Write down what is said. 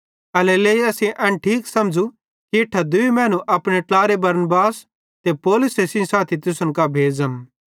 एल्हेरेलेइ असेईं एन ठीक समझ़ू कि इट्ठां दूई मैनू अपने ट्लारे बरनबास ते पौलुस सेइं साथी तुसन कां भेज़म